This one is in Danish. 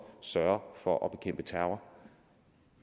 sørge for at bekæmpe terror